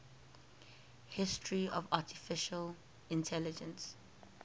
history of artificial intelligence